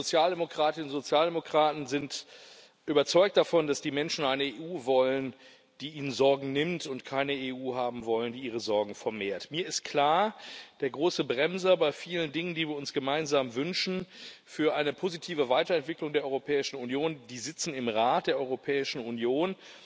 Die Sozialdemokratinnen und Sozialdemokraten sind überzeugt davon, dass die Menschen eine EU wollen, die ihnen Sorgen nimmt, und keine EU haben wollen, die ihre Sorgen vermehrt. Mir ist klar Die großen Bremser bei vielen Dingen, die wir uns gemeinsam für eine positive Weiterentwicklung der Europäischen Union wünschen, die sitzen im Rat der Europäischen Union.